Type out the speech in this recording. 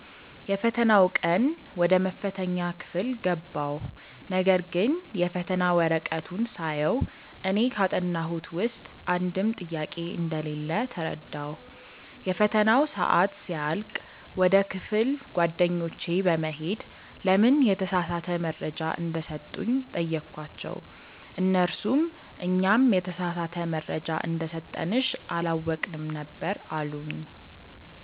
የፈተናው ቀን ወደ መፈተኛ ክፍል ገባሁ ነገርግን የፈተና ወረቀቱን ሳየው እኔ ካጠናሁት ውስጥ አንድም ጥያቄ እንደሌለ ተረዳሁ። የፈተናው ሰአት ሲያልቅ ወደ ክፍል ጓደኞቼ በመሄድ ለምን የተሳሳተ መረጃ እንደሰጡኝ ጠየኳቸው እነርሱም "እኛም የተሳሳተ መረጃ እንደሰጠንሽ አላወቅንም ነበር አሉኝ"።